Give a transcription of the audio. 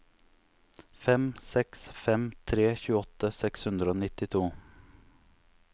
fem seks fem tre tjueåtte seks hundre og nittito